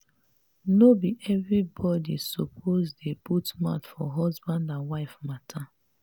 no be everybodi suppose dey put mouth for husband and wife mata.